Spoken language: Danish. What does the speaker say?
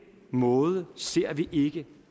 måde ser vi ikke